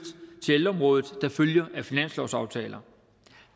til ældreområdet der følger af finanslovsaftaler